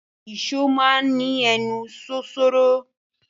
Ì̀só máa n ni ẹnu ṣoṣoro.